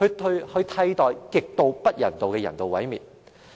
以替代極不人道的人道毀滅。